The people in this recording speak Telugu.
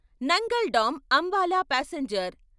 Nangal dam Ambala passenger